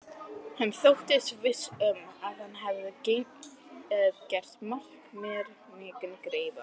Hann þóttist viss um, að hann hefði gert mér mikinn greiða.